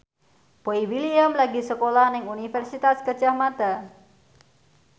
Boy William lagi sekolah nang Universitas Gadjah Mada